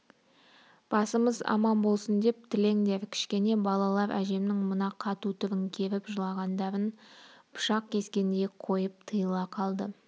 басымыз аман болсын деп тілеңдер кішкене балалар әжемнің мына қату түрін керіп жылағандарын пышақ кескендей қойып тыйыла қалды